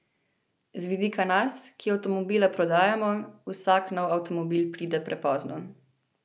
Z vidika nas, ki avtomobile prodajamo, vsak nov avtomobil pride prepozno.